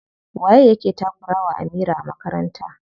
Waye yake takura wa Amira a makaranta?